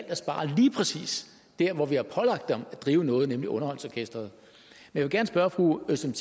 at spare lige præcis dér hvor vi har pålagt dem at drive noget nemlig underholdningsorkestret jeg vil gerne spørge fru özlem